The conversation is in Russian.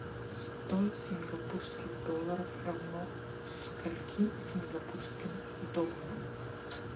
сто сингапурских долларов равно скольки сингапурским долларам